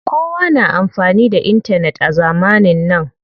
Kowa na amfani da intanet a zamanin nan.